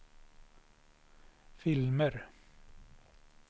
filmer